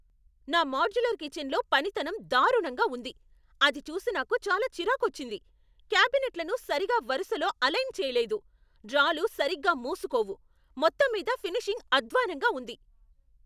నా మాడ్యులర్ కిచెన్లో పనితనం దారుణంగా ఉంది. అది చూసి నాకు చాలా చిరాకొచ్చింది. క్యాబినెట్లను సరిగా వరుసలో అలైన్ చేయలేదు, డ్రాలు సరిగ్గా మూసుకోవు, మొత్తంమీద ఫినిషింగ్ అద్వానంగా ఉంది.